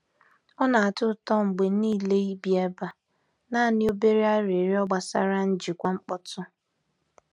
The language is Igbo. Ọ na-atọ ụtọ mgbe niile ibi ebe a; naanị obere arịrịọ gbasara njikwa mkpọtụ.